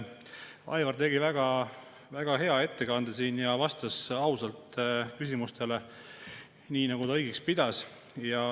Aivar tegi väga hea ettekande ja vastas ausalt küsimustele, nii nagu ta õigeks pidas.